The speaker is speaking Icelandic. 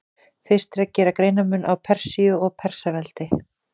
Fyrst er að gera greinarmun á Persíu og Persaveldi.